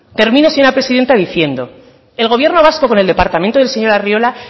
termino señora presidenta diciendo el gobierno vasco con el departamento del señor arriola